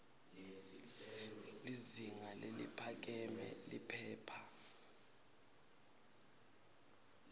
lizinga leliphakeme liphepha